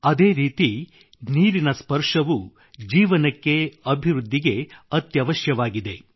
ಅದೇ ರೀತಿ ನೀರಿನ ಸ್ಪರ್ಶವೂ ಜೀವನಕ್ಕೆ ಅಭಿವೃದ್ಧಿಗೆ ಅತ್ಯವಶ್ಯಕವಾಗಿದೆ